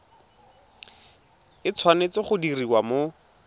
e tshwanetse go diriwa mo